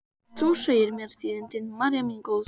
Þú segir mér tíðindin, María mín góð.